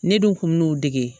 Ne dun kun mi n'o dege